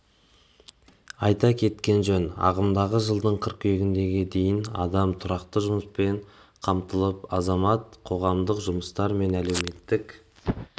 айта кеткен жөн ағымдағы жылдың қыркүйегіне дейін адам тұрақты жұмыспен қамтылып азамат қоғамдық жұмыстер мен әлеуметтік